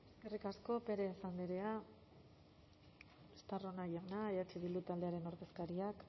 eskerrik asko pérez andrea estarrona jauna eh bildu taldearen ordezkariak